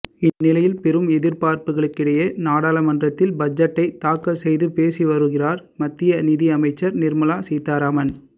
இந்நிலையில் பெரும் எதிர்பார்ப்புகளுக்கிடையே நாடாளுமன்றத்தில் பட்ஜெட்டை தாக்கல் செய்து பேசி வருகிறார் மத்திய நிதி அமைச்சர் நிர்மலா சீதாராமன்